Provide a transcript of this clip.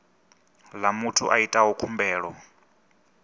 ḽa muthu a itaho khumbelo